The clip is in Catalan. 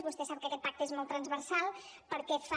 vostè sap que aquest pacte és molt transversal perquè fa